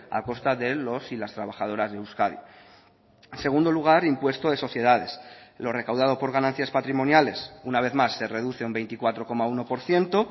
a costa de los y las trabajadoras de euskadi en segundo lugar impuesto de sociedades lo recaudado por ganancias patrimoniales una vez más se reduce un veinticuatro coma uno por ciento